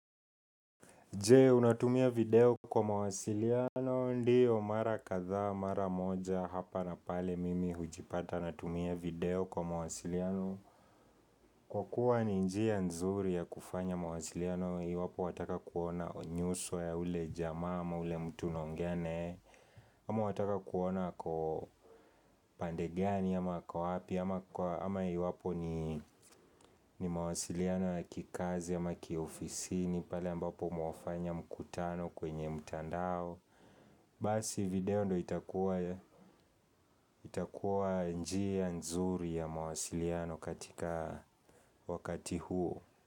Je unatumia video kwa mawasiliano ndiyo mara kadhaa mara moja hapa na pale mimi hujipata natumia video kwa mawasiliano Kwa kuwa ni njia nzuri ya kufanya mawasiliano iwapo wataka kuona nyuso ya ule jamaa ama ule mtu unaongea naye Ama wataka kuona ako upande gani ama ako wapi ama iwapo ni mawasiliano ya kikazi ama kiofisini pale ambapo mwafanya mkutano kwenye mtandao Basi video ndo itakuwa njia nzuri ya mawasiliano katika wakati huo.